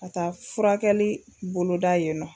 Ka taa furakɛli boloda yen nɔ.